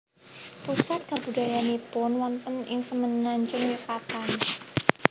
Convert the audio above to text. Pusat kabudayaannipun wonten ing Semenanjung Yukatan